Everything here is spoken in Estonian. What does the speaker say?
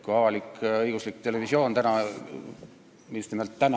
Kui avalik-õiguslik televisioon täna – just nimelt täna!